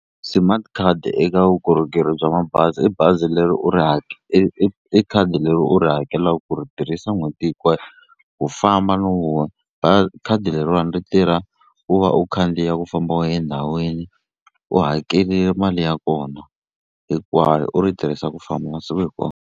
Smart card eka vukorhokeri bya mabazi i bazi leri u ri i i khadi leri u ri hakelaku ku ri tirhisa n'hweti hikwayo ku famba no khadi leriwani ri tirha ku va u khandziya ku famba u ye ndhawini u hakele mali ya kona hinkwayo u ri tirhisa ku famba masiku hikwawo.